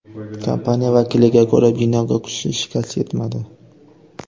Kompaniya vakiliga ko‘ra, binoga kuchli shikast yetmadi.